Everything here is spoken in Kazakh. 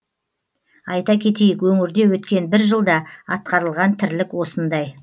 айта кетейік өңірде өткен бір жылда атқарылған тірлік осындай